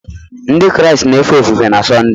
Ndị Kraịst na-efe ofufe na Sọnde